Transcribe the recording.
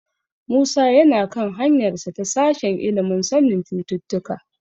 Musa yana kan hanyarsa ta sashen ilimin sanin cututtuka.